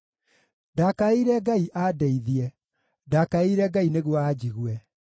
Ndakaĩire Ngai andeithie; ndakaĩire Ngai nĩguo anjigue.